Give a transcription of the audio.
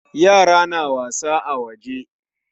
Ya'yana na wasa a waje.